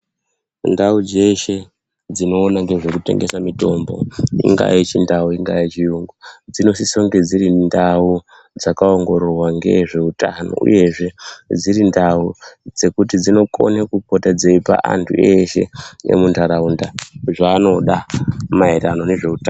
Ndau dzeshe dzinoona ngezvekutengese mitombo ingaa yechindau ingaa yechiyungu. Dzinosisonge dzirindau dzakaongororwa ngezveutano, uyezve dziri ndau dzekuti dzinokona kupota dzeipa antu eshe emuntaraunda zvaanoda maereno nezveutano